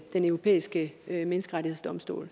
den europæiske menneskerettighedsdomstol